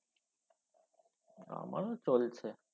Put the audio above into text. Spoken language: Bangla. আমার চলছে